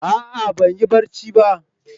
A'a ban yi barci ba.